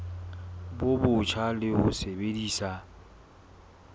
bo botjha le ho sebedisa